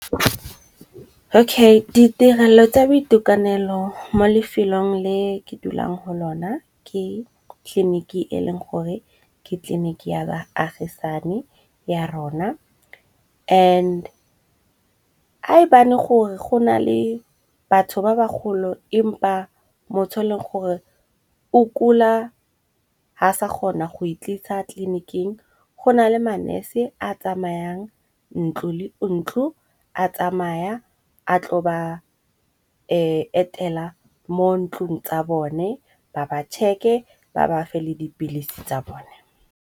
Okay ditirelo tsa boitekanelo mo lefelong le ke dulang go lona, ke tliliniki e leng gore ke tleliniki ya baagisane ya rona and ae bane gore go na le batho ba ba golo empa motho e leng gore o kula, ha sa kgona go e tlisa tleliniking. Go na le ma nese a tsamayang ntlo le ntlo, a tsamaya a tlo ba etela mo ntlung tsa bone ba ba tšheke ba bafe le dipilisi tsa bone.